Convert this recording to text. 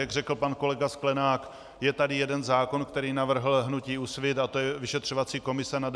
Jak řekl pan kolega Sklenák, je tady jeden zákon, který navrhlo hnutí Úsvit, a to je vyšetřovací komise na D47.